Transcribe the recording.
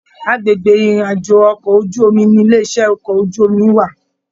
Agbègbè ìrìn àjò okọ̀ ojú omi ní ilé iṣẹ okọ̀ ojú omi wà.